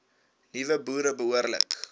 nuwe boere behoorlik